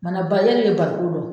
de bɛ barikon dɔn.